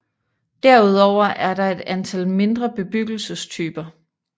Herudover er der et antal mindre bebyggelsestyper